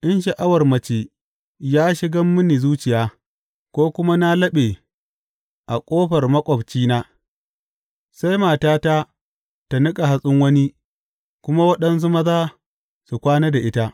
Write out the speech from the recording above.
In sha’awar mace ya shiga mini zuciya, ko kuma na laɓe a ƙofar maƙwabcina, sai matata ta niƙa hatsin wani kuma waɗansu maza su kwana da ita.